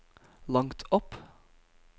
langt opp